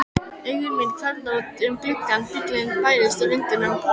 Augu mín hvarfla út um gluggann, bíllinn bærist í vindinum.